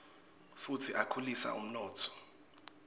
futsi akhulisa umnotfo